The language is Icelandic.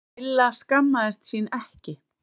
Milla skammaðist sín ekki.